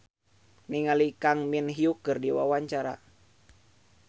Sherina Munaf olohok ningali Kang Min Hyuk keur diwawancara